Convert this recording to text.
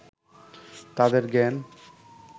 তাঁদের জ্ঞান